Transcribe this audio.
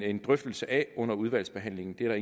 en drøftelse af under udvalgsbehandlingen det er